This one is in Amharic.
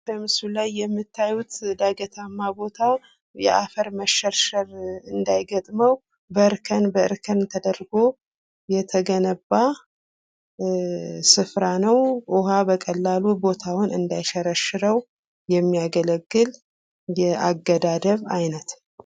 በምስሉ ላይ የምታዩት ዳገታማ ቦታ የአፈር መሸርሸር እንዳይገጥመው በእርከን በእርከን ተደርጎ የተገነባ ስፍራ ነው። ውሃ በቀላሉ ቦታውን እንዳይሸረሽርው የሚያገለግል የአገዳደብ አይነት ።